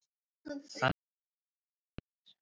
Þannig að þeir hættu allir.